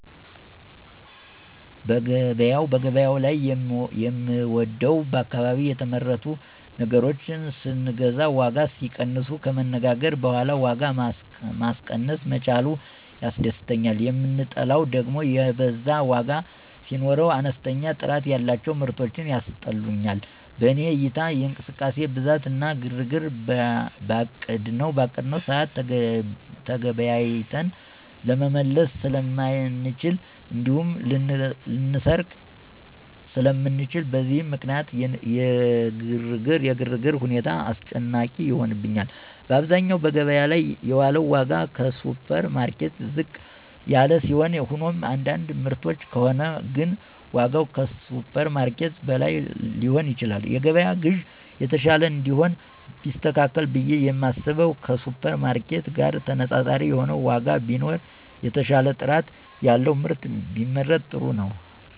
በገበያው ላይ የምወደው በአካባቢ የተመረቱ ነገሮችን ስንገዛ ዋጋ ሲቀንሱ፣ ከመነጋገር በኋላ ዋጋ ማስቀነስ መቻሉ ያስደስተኛል, የምጠላው ደግም የበዛ ዋጋ ሲኖር፣ አነስተኛ ጥራት ያላቸው ምርቶች ያስጠሉኛል። በኔ እይታ የእንቅስቃሴ ብዛት እና ግርግር፣ በአቀድነው ሰዓት ተገበያይተን ለመመለስ ስለማንችል እንዲሁም ልንሰረቅ ስለምንችል፣ በእነዚህ ምክንያት የግርግር ሁኔታ አስጨናቂ ይሆንብኛል። በአብዛኛው በገበያ ላይ ያለው ዋጋ ከሱፐርማርኬት ዝቅ ያለ ሲሆን ሆኖም የአንዳንድ ምርቶች ከሆነ ግን ዋጋው ከሱፐርማርኬት በላይ ሊሆን ይችላል። የገበያ ግዢ የተሻለ እንዲሆን ቢስተካከል ብየ የማስበው ከሱፐርማርኬት ጋር ተነፃፃሪ የሆነ ዋጋ ቢኖረው፣ የተሻለ ጥራት ያለው ምርት ቢመረት ጥሩ ነው።